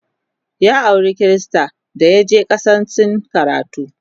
ya aura Krista dayaje kasan sin karatu